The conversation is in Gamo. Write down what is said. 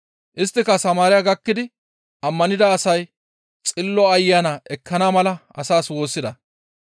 Isttika Samaariya gakkidi ammanida asay Xillo Ayana ekkana mala asaas woossida.